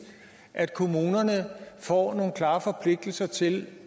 at kommunerne får nogle klare forpligtelser til